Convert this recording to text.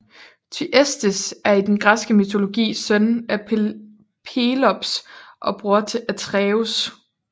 Thyestes er i den græske mytologi søn af Pelops og bror til Atreus